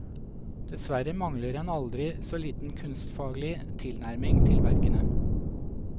Dessverre mangler en aldri så liten kunstfaglig tilnærming til verkene.